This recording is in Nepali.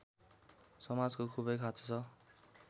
समाजको खूबै खाँचो छ